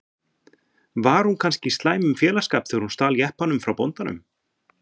Var hún kannski í slæmum félagsskap þegar hún stal jeppanum frá bóndanum?